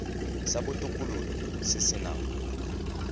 sa botokololo se se nang